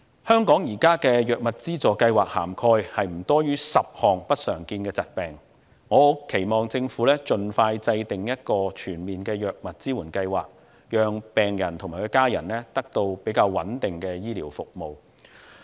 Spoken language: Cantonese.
香港現時的藥物資助計劃涵蓋不多於10項不常見的疾病，我很期望政府盡快制訂一個全面的藥物支援計劃，讓病人及其家人得到穩定的醫療服務。